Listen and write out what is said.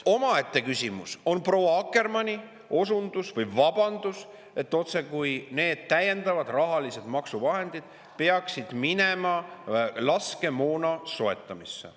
Omaette küsimus on proua Akkermanni osundus või vabandus, et otsekui need täiendavad rahalised maksuvahendid peaksid minema laskemoona soetamisse.